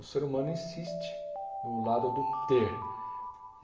O ser humano insiste no lado do ter.